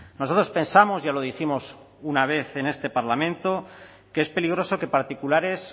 nosotros pensamos ya lo dijimos una vez en este parlamento que es peligroso que particulares